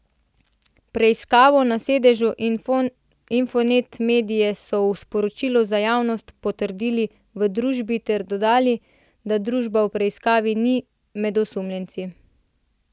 Preiskavo na sedežu Infonet medie so v sporočilu za javnost potrdili v družbi ter dodali, da družba v preiskavi ni med osumljenci.